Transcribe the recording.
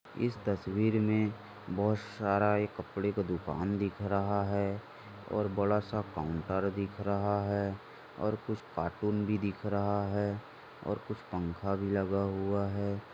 इस तस्वीर में बहुत सारा कपड़े का दुकान दिख रहा है और बड़ा सा काउंटर दिख रहा है और कुछ कार्टून भी दिख रहा है और कुछ पंखा भी लगा हुआ है।